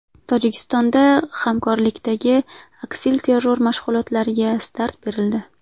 Tojikistonda hamkorlikdagi aksilterror mashg‘ulotlariga start berildi .